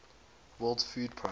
world food programme